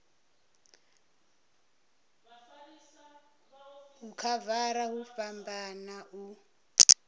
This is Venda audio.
u khavara hu fhambana u